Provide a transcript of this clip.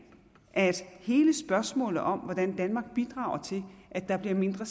at hele spørgsmålet om hvordan danmark bidrager til at der bliver mindre